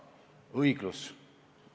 Natuke ka õiglusest.